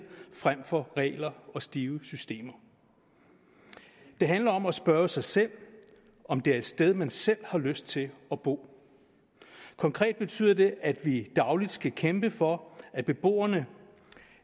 frem for regler og stive systemer det handler om at spørge sig selv om det er et sted man selv har lyst til at bo konkret betyder det at vi dagligt skal kæmpe for at beboerne